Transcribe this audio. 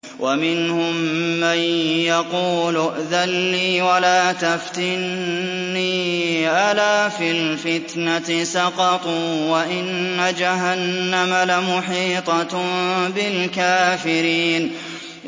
وَمِنْهُم مَّن يَقُولُ ائْذَن لِّي وَلَا تَفْتِنِّي ۚ أَلَا فِي الْفِتْنَةِ سَقَطُوا ۗ وَإِنَّ جَهَنَّمَ لَمُحِيطَةٌ بِالْكَافِرِينَ